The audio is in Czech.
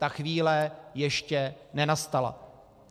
Ta chvíle ještě nenastala.